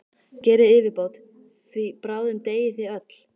Gerið yfirbót, því bráðum deyið þið öll!